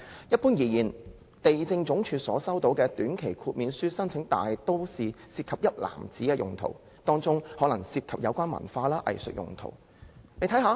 一般而言，地政總署收到的短期豁免書申請，大都是涉及"一籃子"用途，當中可能涉及有關文化及藝術用途。